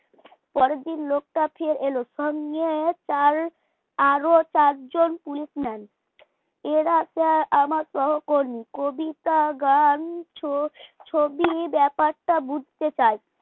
পরের দিন লোকটা ফের এলো সঙ্গে তার আরো চারজন police man এরা আমার সহকর্মী কবিতা গান ছ ছবি ব্যাপারটা বুঝতে চায়।